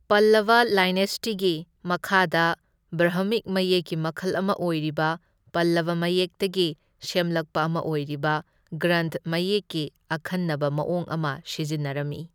ꯄꯜꯂꯕ ꯂꯥꯏꯅꯦꯁꯇꯤꯒꯤ ꯃꯈꯥꯗ ꯕ꯭ꯔꯍꯃꯤꯛ ꯃꯌꯦꯛꯀꯤ ꯃꯈꯜ ꯑꯃ ꯑꯣꯏꯔꯤꯕ ꯄꯜꯂꯕ ꯃꯌꯦꯛꯇꯒꯤ ꯁꯦꯝꯂꯛꯄ ꯑꯃ ꯑꯣꯏꯔꯤꯕ ꯒ꯭ꯔꯟꯊ ꯃꯌꯦꯛꯀꯤ ꯑꯈꯟꯅꯕ ꯃꯑꯣꯡ ꯑꯃ ꯁꯤꯖꯤꯟꯅꯔꯝꯃꯤ꯫